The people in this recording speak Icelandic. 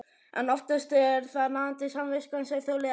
En oftast er það nagandi samviskan sem þolir ekki meir.